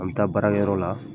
An bɛ taa baara yɔrɔ la.